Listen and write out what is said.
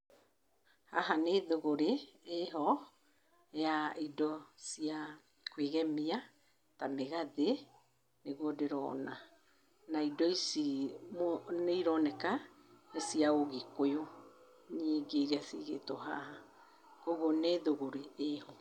Haha nĩ thũgũrĩ ĩho, ya indo cia kwĩgemia ta mĩgathĩ, nĩguo ndĩrona. Na indo ici nĩ ironeka nĩ cia Ũgĩkũyũ nyingĩ irĩa cigĩtwo haha. Kũguo nĩ thũgũrĩ ĩho.